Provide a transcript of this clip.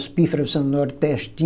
Os pífaro são